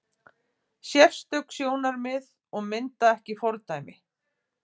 Sérstök sjónarmið og mynda ekki fordæmi